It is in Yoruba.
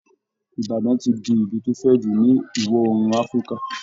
Ibadan ti di ìlù tó fẹ̀ jù ní ìwọ̀ òòrùn Afrika